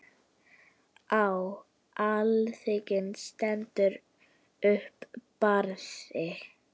Á alþingi stendur upp Barði